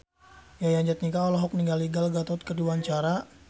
Yayan Jatnika olohok ningali Gal Gadot keur diwawancara